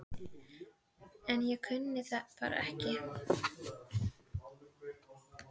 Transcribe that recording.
En ég kunni það bara ekki.